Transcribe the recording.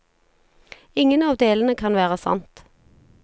Ingen av delene kan være sant.